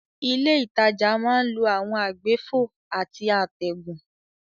Ilé ìtajà máa ń lo àwọn àgbéfò àti àtẹ̀gùn.